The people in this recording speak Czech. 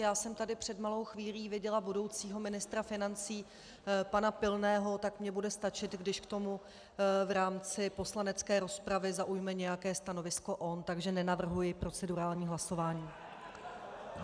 Já jsem tady před malou chvíli viděla budoucího ministra financí pana Pilného, tak mi bude stačit, když k tomu v rámci poslanecké rozpravy zaujme nějaké stanovisko on, takže nenavrhuji procedurální hlasování.